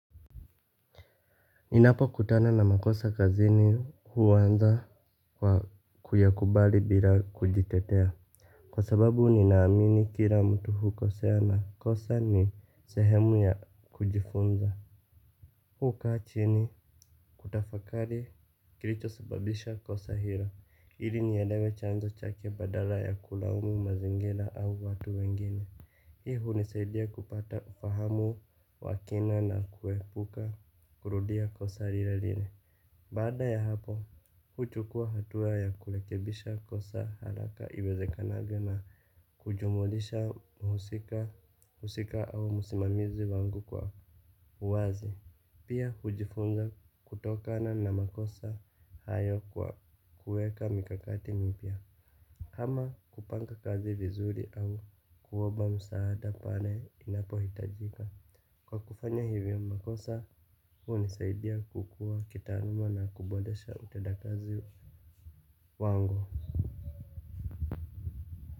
Ninapo kutana na makosa kazini huanza kwa kuyakubali bila kujitetea. Kwa sababu ninaamini kila mtu hukosea na kosa ni sehemu ya kujifunza. Hukaa chini kutafakari kilicho sababisha kosa hilo ili nielewe chanzo chake badala ya kulaumu mazingira au watu wengine. Hii hunisaidia kupata ufahamu wa kina na kuepuka kurudia kosa lile lile. Baada ya hapo, huchukua hatua ya kurekebisha kosa haraka iwezekanavyo na kujumulisha mhusika au msimamizi wangu kwa uwazi. Pia hujifunza kutokana na makosa hayo kwa kueka mikakati mipya. Ama kupanga kazi vizuri au kuomba msaada pale inapohitajika. Kwa kufanya hivyo makosa hunisaidia kukua kitaaruma na kuboresha utenda kazi wangu.